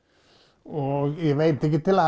og ég veit ekki til að